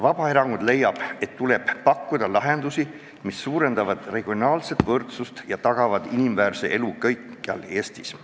Vabaerakond leiab, et tuleb pakkuda lahendusi, mis suurendavad regionaalset võrdsust ja tagavad inimväärse elu kõikjal Eestis.